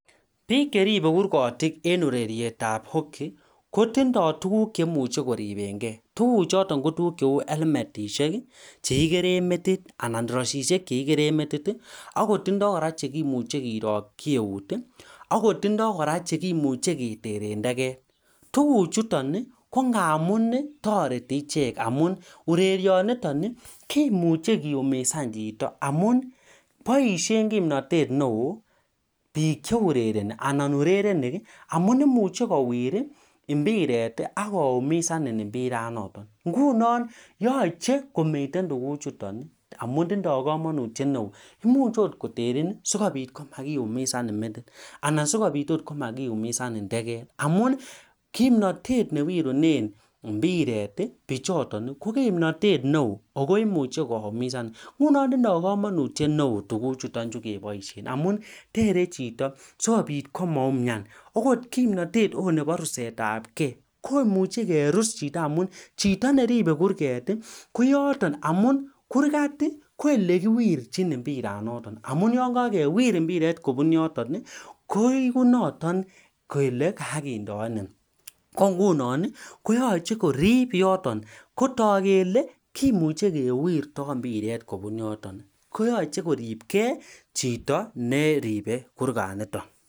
Biik che ribe kurgoti en urerirtab hoki kotindoi tuguk cheimuche koriben gei tuguchoton kotuguk cheu elmetishek chekikeren metit ana iroisishek chekikeren metit ak kora chekimuche kilokyi eunek ak Kotindoi kora chekimuche keteren teget tuguchoton ii kongamun ii toreti ichek amun urerioniyon Ii kimuche kiumisan chito amun boisien kimnotet ne oo biik cheurereni ana urerenik amun imuchel kowir impiret akoumisanin impiranoton ingunon yoche komiten tuguchoton anum tindoi komonutyet neo imuch ot koterin simakiumisanin akot metit simakiumisanin tegek amun kimnatet mewirunen impiret ii bichoton ko kimnotet neo ingunon tindoi komonutyet neo tuguchuton amun tere chito sikobit komaumian akot kimnatet nebo rusetsbgei komuche kiumisan amun chito neribe kurget koyoton amun kurgat koelekiwirji impiranoton amun yon kakawir impiret kobun yoten koigu noton kole kakesindanin ingunon yoche korib yoton ingunon kimuche kewirtoi impiret kobun yoton koyoche koribgei chito neribei kurganiton